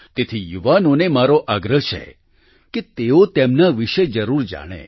તેથી યુવાનોને મારો આગ્રહ છે કે તેઓ તેમના વિશે જરૂરથી જાણે